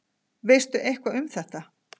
Veistu eitthvað um þetta?